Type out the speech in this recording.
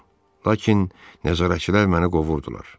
Lakin nəzarətçilər məni qovurdular.